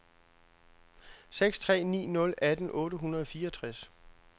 seks tre ni nul atten otte hundrede og fireogtres